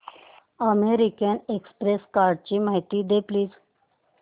American express कार्डची माहिती दे प्लीज